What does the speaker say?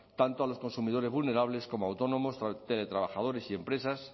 tanto a los consumidores vulnerables como autónomos teletrabajadores y empresas